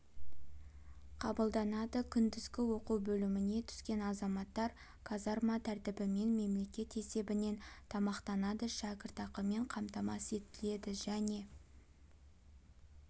қабылданады күндізгі оқу бөліміне түскен азаматтар казарма тәртібімен мемлекет есебінен тамақтанады шәкіртақымен қамтамасыз етіледі және